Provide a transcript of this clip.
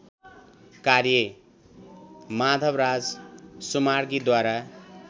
कार्य माधवराज सुमार्गीद्वारा